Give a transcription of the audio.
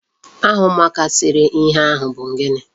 Aha ụmụaka sere ihe ahụ bụ gịnị?